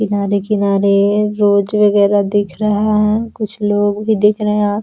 किनारे-किनारे रोज वगैरा भी दिख रहा है कुछ लोग भी दिख रहे हैं आ --